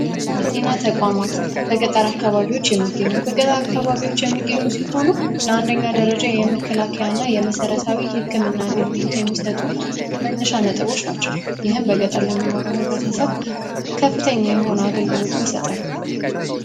በጤና ተቋሟት በገጠር አካባቢዎች የሚገኙት በገጠር አካባቢዎች የሚገኙት ሲሆኑ ለአንደኛ ደረጃ የመከላከያ እና የመሠረታዊ ሕክም እና አገልግሎት የሚሰጡት መነሻ ነጥቦች ናቸው። ይህን በገጠር ለሚኖረው ህብረተሰብ ከፍተኛ የሆኑ አገልግሎትን ይሰጣሉ።